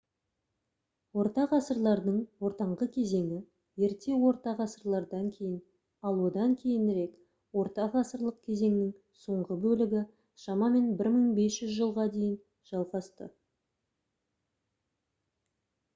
ортағасырлардың ортаңғы кезеңі ерте орта ғасырлардан кейін ал одан кейінірек ортағасырлық кезеңнің соңғы бөлігі шамамен 1500 жылға дейін жалғасты